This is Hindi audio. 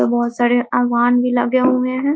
यहाँ बहुत सारे भी लगे हुए हैं ।